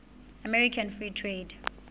american free trade